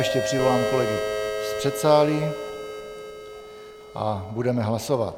Ještě přivolám kolegy z předsálí a budeme hlasovat.